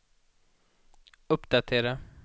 uppdatera